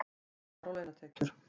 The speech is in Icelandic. Skattar á launatekjur